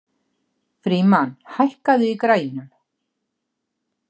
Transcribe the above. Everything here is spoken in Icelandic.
Frímann, hækkaðu í græjunum.